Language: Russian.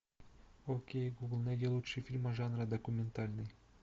окей гугл найди лучшие фильмы жанра документальный